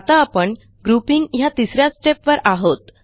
आता आपण ग्रुपिंग ह्या तिस या stepवर आहोत